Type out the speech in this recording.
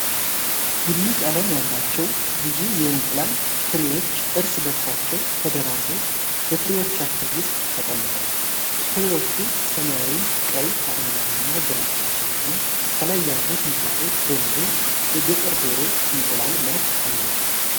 ቡኒ ቀለም ያላቸው ብዙ የእንቁላል ትሪዎች እርስ በእርሳቸው ተደራርበው በትሪዎቻቸው ውስጥ ተቀምጠዋል። ትሪዎቹ ሰማያዊ፣ ቀይ፣ አረንጓዴ እና ግራጫ ሲሆኑ፣ ከላይ ያሉት እንቁላሎች በሙሉ የገጠር ዶሮ እንቁላል መልክ አላቸው።